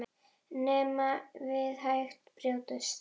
Neðan við hægra brjóst.